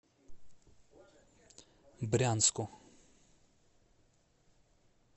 брянску